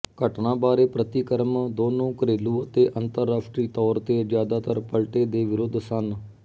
ਘਟਨਾ ਬਾਰੇ ਪ੍ਰਤੀਕਰਮ ਦੋਨੋਂ ਘਰੇਲੂ ਅਤੇ ਅੰਤਰਰਾਸ਼ਟਰੀ ਤੌਰ ਤੇ ਜ਼ਿਆਦਾਤਰ ਪਲਟੇ ਦੇ ਵਿਰੁੱਧ ਸਨ